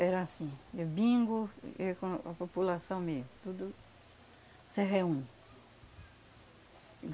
Era assim, eh bingo e e quando a população mesmo, tudo se reúne.